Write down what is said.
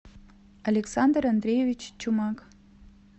александр андреевич чумак